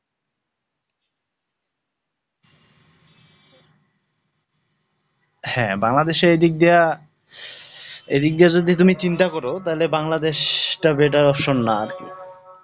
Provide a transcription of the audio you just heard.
হ্যাঁ বাংলাদেশে এই দিক দিয়া, এদিক দিয়ে যদি তুমি চিন্তা করো তাহলে বাংলাদেশটা better option না আর কি?